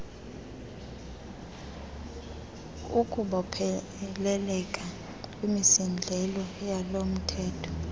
ukubopheleleka kwimisindleko yalomthetho